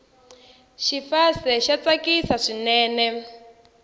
xifase xa tsakisa swinene